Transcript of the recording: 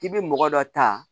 K'i bɛ mɔgɔ dɔ ta